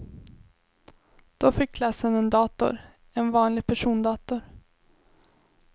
Då fick klassen en dator, en vanlig persondator.